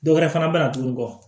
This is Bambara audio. Dɔwɛrɛ fana bɛ na tuguni kɔ